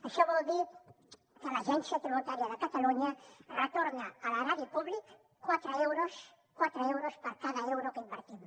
això vol dir que l’agència tributària de catalunya retorna a l’erari públic quatre euros quatre euros per cada euro que invertim